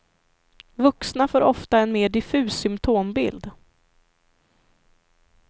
Vuxna får ofta en mer diffus symptombild.